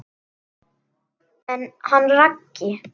En hann Raggi?